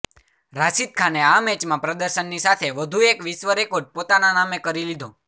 રાશિદ ખાને આ મેચમાં પ્રદર્શનની સાથે વધુ એક વિશ્વ રેકોર્ડ પોતાના નામે કરી લીદો